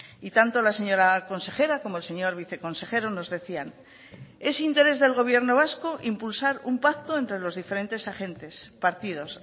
y tanto la señora consejera como el señor viceconsejero nos decían es interés del gobierno vasco impulsar un pacto entre los diferentes agentes partidos